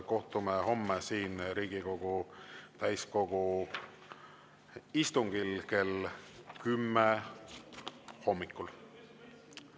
Kohtume homme Riigikogu täiskogu istungil kell 10 hommikul.